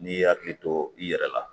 N'i y'i hakili to i yɛrɛ la